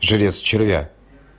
жрец червя